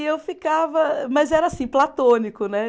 E eu ficava. Mas era assim, platônico, né?